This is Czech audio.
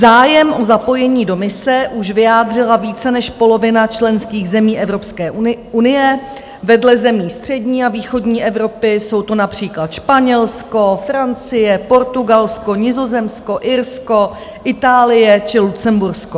Zájem o zapojení do mise už vyjádřila více než polovina členských zemí Evropské unie, vedle zemí střední a východní Evropy jsou to například Španělsko, Francie, Portugalsko, Nizozemsko, Irsko, Itálie či Lucembursko.